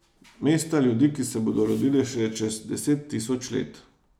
Mesta ljudi, ki se bodo rodili šele čez deset tisoč let.